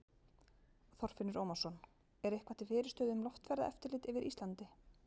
Þorfinnur Ómarsson: Er eitthvað til fyrirstöðu um loftferðaeftirlit yfir Íslandi?